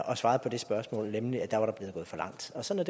og svarede på det spørgsmål nemlig at der var der blevet gået for langt og sådan